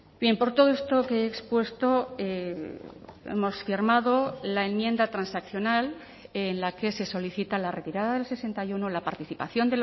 bien por todo esto que he expuesto hemos firmado la enmienda transaccional en la que se solicita la retirada del sesenta y uno la participación